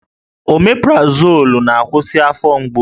Omeprazolụ na-akwụsị afọ mgbu